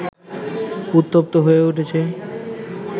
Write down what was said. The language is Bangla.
উত্তপ্ত হয়ে উঠছে